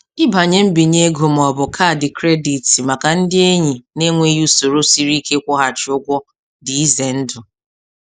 Ịbanye mbinye ego ma ọ bụ kaadị kredit maka ndị enyi na-enweghị usoro siri ike ịkwụghachi ụgwọ dị ize ndụ.